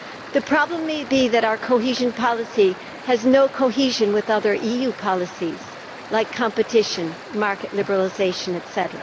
The problem may be that our cohesion policy has no cohesion with other EU policies, like competition, market liberalisation etc.